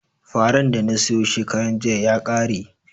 Faran da na soya shekaran jiya ya ƙare